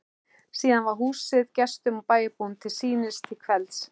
Síðan var húsið gestum og bæjarbúum til sýnis til kvelds.